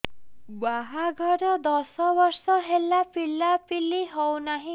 ବାହାଘର ଦଶ ବର୍ଷ ହେଲା ପିଲାପିଲି ହଉନାହି